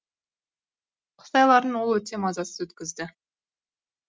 қыс айларын ол өте мазасыз өткізді